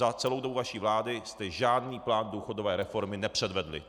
Za celou dobu vaší vlády jste žádný plán důchodové reformy nepředvedli.